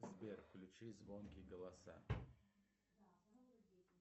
сбер включи звонкие голоса